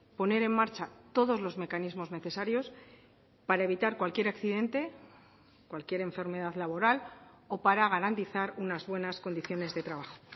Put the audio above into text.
poner en marcha todos los mecanismos necesarios para evitar cualquier accidente cualquier enfermedad laboral o para garantizar unas buenas condiciones de trabajo